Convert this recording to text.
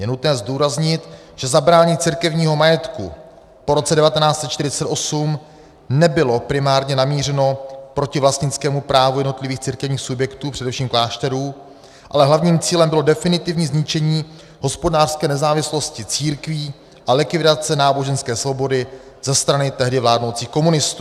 Je nutné zdůraznit, že zabrání církevního majetku po roce 1948 nebylo primárně namířeno proti vlastnickému právu jednotlivých církevních subjektů, především klášterů, ale hlavním cílem bylo definitivní zničení hospodářské nezávislosti církví a likvidace náboženské svobody ze strany tehdy vládnoucích komunistů.